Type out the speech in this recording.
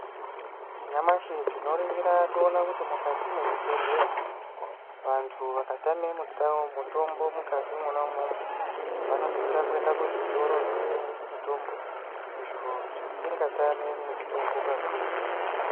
Nyamashi tinoningira toona kuti mukati mwezvibhedhleya, vantu vakatame mitau mitombo mukati mwona umwomwo, vanosisa kuenda kuzvitoro zvinotengesa mitombo ,izvo zvisingayami mutombo kakurutu.